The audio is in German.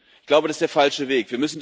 Ich glaube, das ist der falsche Weg.